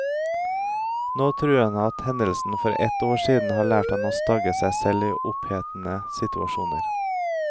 Nå tror han at hendelsen for ett år siden har lært ham å stagge seg selv i opphetede situasjoner.